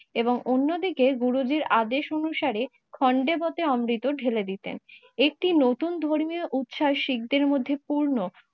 এবং অন্যদিকে গুরুজীর আদেশ অনুসারে খোন্দেপথে অমৃত ঢেলে দিতেন। একটি নতুন ধর্মীয় উচ্ছাস শিখদের মধ্যে পূর্ণ